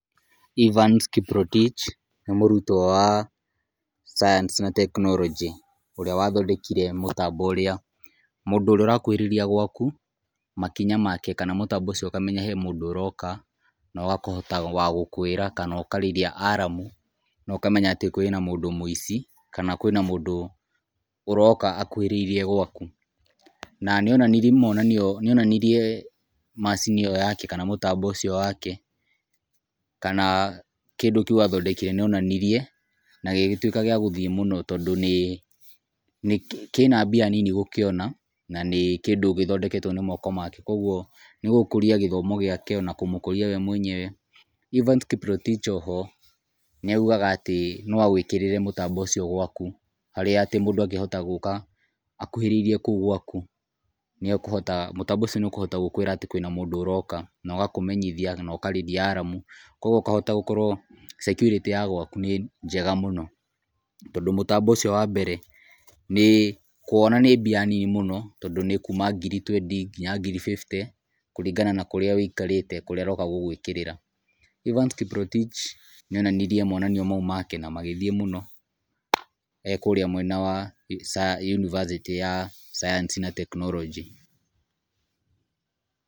Evans Kiprotich nĩ mũrutwo wa sayansi na tekinoronjĩ ,wathondekire mũtambo ũrĩa mũndũ ũrĩa arakuhĩrĩria gwaku makinya make kana mũtambo ũcio ũkamenya he mũndũ aroka na akahota wagũkwĩra kana ĩkarĩrithia aramu na ũkamenya atĩ kwĩna mũici kana kwĩna mũndũ aroka akuhĩrĩrie gwaku, na nĩonanirie macini ĩyo yake kana mũtambo ũcio wake, kana kĩndũ kĩũ athondekire nĩonanirie na gĩgĩtuĩka gĩa gũthiĩ mũno tondũ kĩna mbia nini gũkĩona na nĩ kĩndũ kĩthondeketwe na moko make kwoguo nĩgũkũria gĩthomo gĩake na kũmũkũrĩa we mwenyewe, Evans Kiprotich oho nĩaugaga atĩ noagwĩkĩrĩre mũtambo ũcio gwaku harĩa atĩ mũndũ angĩhoma gũka akuhĩrĩrie kũu gwaku mũtambo ũcio nĩekũhota gũkwĩra atĩ kwĩna mũndũ ũroka nogakũmeenyithia naũkarĩria aramu kwoguo ũkahota gũkorwo sekurĩty ya gwaku nĩ njega mũno, tondũ mũtambo ũcio wa mbere kũwona nĩ mbia nini múũo tondũnĩ kuuma ngiri twendi nginya ngiri fifty, kũringana na kũrĩa ũikarrĩte kũrĩa aroka kũgwĩkĩrĩra, Evans Kiprotich nĩonanirie monania make na aggĩthiĩ mũno ekũrĩa mwenya wa yunibasitĩ ya sayansi na tekinorojĩ .